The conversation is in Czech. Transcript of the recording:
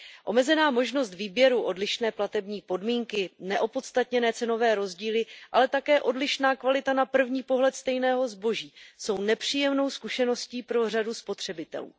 Omezená možnost výběru, odlišné platební podmínky, neopodstatněné cenové rozdíly, ale také odlišná kvalita na první pohled stejného zboží jsou nepříjemnou zkušeností pro řadu spotřebitelů.